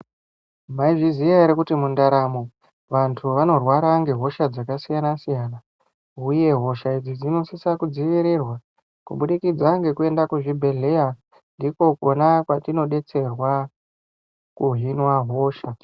Mwaizviziya ere kuti mundaramo, vanthu vanorwara ngehosha dzakasiyana-siyana. Uye hosha idzi dzinosise kudziirirwa, kubudikidza ngekuenda kuzvibhedhlera, ndiko kwona kwetinodetserwa kuhinwa hosha.